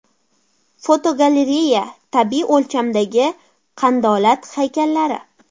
Fotogalereya: Tabiiy o‘lchamdagi qandolat haykallari.